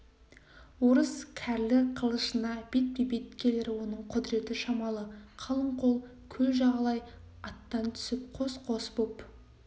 орыс кәрлі қылышына бетпе-бет келер оның құдіреті шамалы қалың қол көл жағалай аттан түсіп қос-қос боп